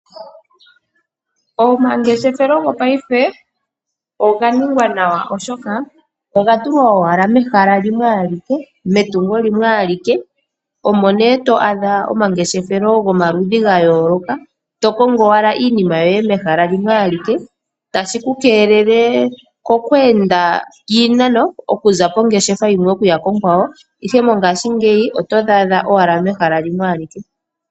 Omangeshefelo gopaife, oga ningwa nawa oshoka oga tulwa owala mehala limwe alike, metungo limwe alike. Omo ne to adha omangeshefelo ga yooloka, to kongo owala iinima yoye, mehala limwe alike, tashi ku keelele kokwernda, iinano okuza pongeshefa yimwe to yi kongeshefa onkwawo, ihe mongashingeyi oto dhi adha owala mehala limwe alike.